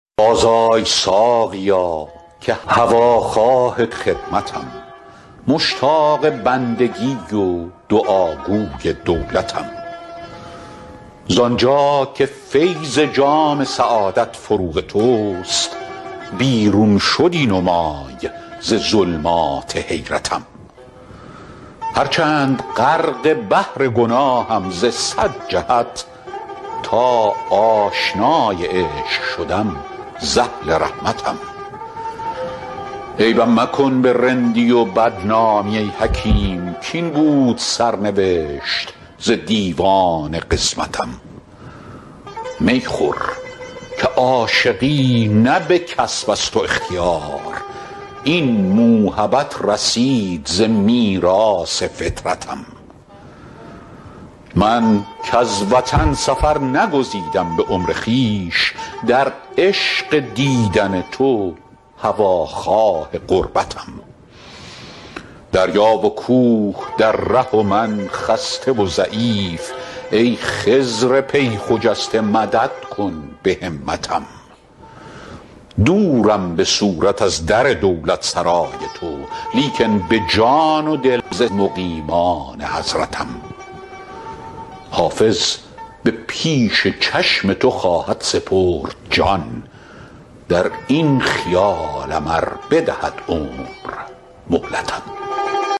بازآی ساقیا که هواخواه خدمتم مشتاق بندگی و دعاگوی دولتم زان جا که فیض جام سعادت فروغ توست بیرون شدی نمای ز ظلمات حیرتم هرچند غرق بحر گناهم ز صد جهت تا آشنای عشق شدم ز اهل رحمتم عیبم مکن به رندی و بدنامی ای حکیم کاین بود سرنوشت ز دیوان قسمتم می خور که عاشقی نه به کسب است و اختیار این موهبت رسید ز میراث فطرتم من کز وطن سفر نگزیدم به عمر خویش در عشق دیدن تو هواخواه غربتم دریا و کوه در ره و من خسته و ضعیف ای خضر پی خجسته مدد کن به همتم دورم به صورت از در دولتسرای تو لیکن به جان و دل ز مقیمان حضرتم حافظ به پیش چشم تو خواهد سپرد جان در این خیالم ار بدهد عمر مهلتم